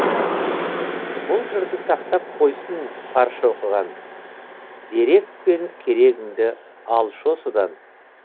бұл жырды сақтап қойсын барша оқыған дерек пен керегіңді алшы осыдан